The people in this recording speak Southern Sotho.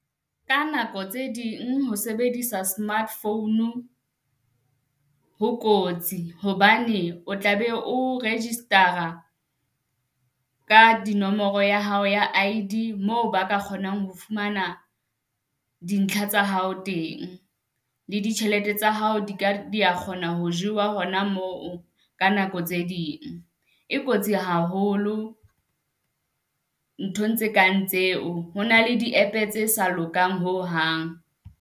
Ka nako tse ding ho sebedisa smart founu ho kotsi hobane o tla be o register-a ka dinomoro ya hao ya I_D moo ba ka kgonang ho fumana dintlha tsa hao teng. Le ditjhelete tsa hao di ka di kgona ho jewa hona moo ka nako tse ding e kotsi haholo nthong tse kang tseo ho na le di app-e tse sa lokang ho hang.